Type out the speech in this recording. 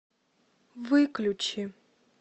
выключи